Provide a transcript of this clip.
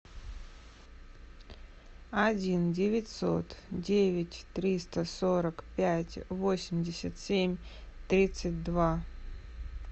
один девятьсот девять триста сорок пять восемьдесят семь тридцать два